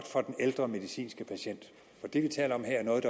for den ældre medicinske patient for det vi taler om her er noget